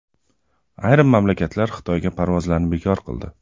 Ayrim mamlakatlar Xitoyga parvozlarni bekor qildi.